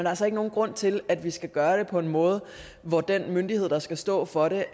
altså ikke nogen grund til at vi skal gøre det på en måde hvor den myndighed der skal stå for det